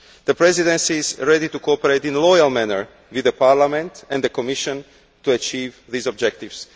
The Presidency is ready to cooperate in a loyal manner with Parliament and the Commission to achieve these objectives.